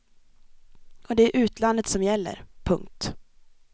Och det är utlandet som gäller. punkt